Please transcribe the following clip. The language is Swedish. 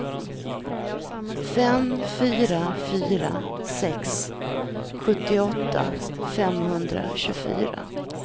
fem fyra fyra sex sjuttioåtta femhundratjugofyra